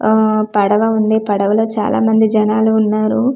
ఆఆ పడవ ఉంది పడవ లో చాన మంది జనాలు ఉన్నారు ఊ--